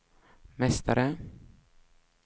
mästare